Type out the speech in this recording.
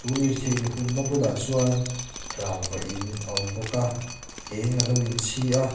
u lirthei inhung na bulah chuan rangva in a awm bawk a eng alo in chhi a.